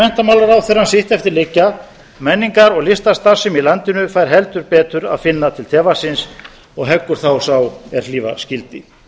menntamálaráðherrann sitt eftir liggja menningar og listastarfsemi í landinu fær heldur betur finna til tevatnsins og heggur þá sá er hlífa skyldi